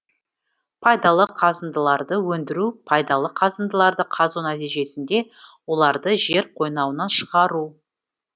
пайдалы қазындыларды өндіру пайдалы қазындыларды қазу нәтижесінде оларды жер қойнауынан шығару